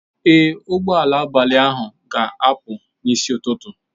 Ee, ụgbọ ala abalị ahụ ga-apụ n'isi ụtụtụ.